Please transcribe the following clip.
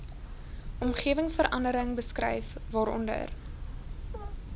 omgewingsverandering beskryf waaronder